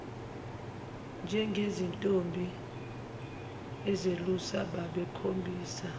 njengezintombi ezelusa babekhombisa